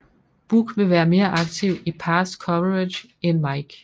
Buck vil være mere aktiv i pass coverage end Mike